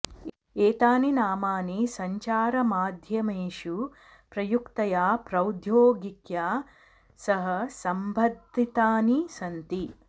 एतानि नामानि सञ्चारमाध्यमेषु प्रयुक्तया प्रौद्योगिक्या सह सम्बद्धितानि सन्ति